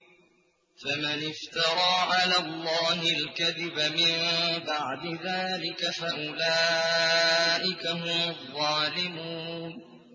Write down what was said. فَمَنِ افْتَرَىٰ عَلَى اللَّهِ الْكَذِبَ مِن بَعْدِ ذَٰلِكَ فَأُولَٰئِكَ هُمُ الظَّالِمُونَ